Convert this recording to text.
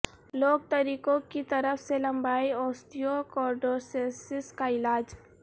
لوک طریقوں کی طرف سے لمبائی اوستیوکوڈروسیسس کا علاج